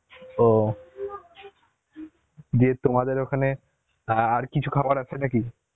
ও দিয়ে তোমাদের ওখানে আ আর কিছু খাবার আছে না কি?